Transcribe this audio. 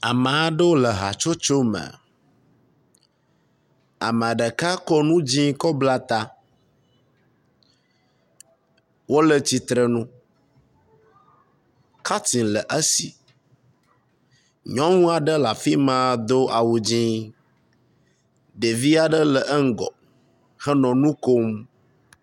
Ame aɖewo le hatsotso me. Ame ɖeka ko nu dzi kɔ bla ta. Wo le tsitrenu. Katin le esi. Nyɔnu aɖe le afi ma do awu dzi ɖevi aɖe le eŋgɔ do awu dzi.